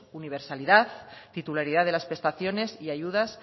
universalidad titularidad de las prestaciones y ayudas